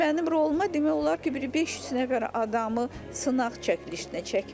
Mənim roluma demək olar ki, bir 500 nəfər adamı sınaq çəkilişinə çəkmişdilər.